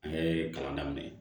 An ye kalan daminɛ